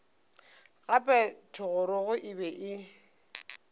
gape thogorogo e be e